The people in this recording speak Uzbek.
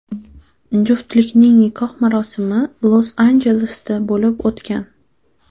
Juftlikning nikoh marosimi Los-Anjelesda bo‘lib o‘tgan.